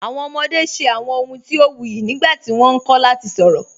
Awọn ọmọde ṣẹ awọn ọ̀huǹ ti o wuyì nígbàtí wọ́n nkọ̀ lati sọ̀rọ.